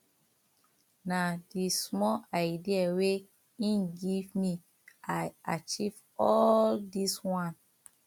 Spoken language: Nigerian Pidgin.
na di small idea wey im give me i usa achieve all dis one